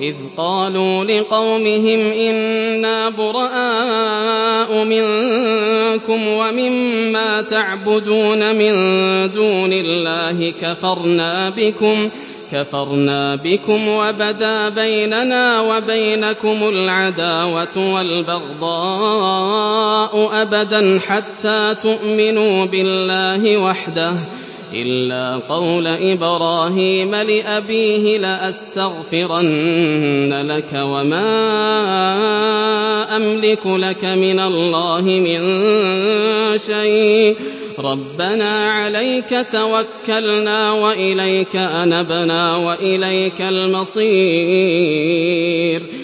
إِذْ قَالُوا لِقَوْمِهِمْ إِنَّا بُرَآءُ مِنكُمْ وَمِمَّا تَعْبُدُونَ مِن دُونِ اللَّهِ كَفَرْنَا بِكُمْ وَبَدَا بَيْنَنَا وَبَيْنَكُمُ الْعَدَاوَةُ وَالْبَغْضَاءُ أَبَدًا حَتَّىٰ تُؤْمِنُوا بِاللَّهِ وَحْدَهُ إِلَّا قَوْلَ إِبْرَاهِيمَ لِأَبِيهِ لَأَسْتَغْفِرَنَّ لَكَ وَمَا أَمْلِكُ لَكَ مِنَ اللَّهِ مِن شَيْءٍ ۖ رَّبَّنَا عَلَيْكَ تَوَكَّلْنَا وَإِلَيْكَ أَنَبْنَا وَإِلَيْكَ الْمَصِيرُ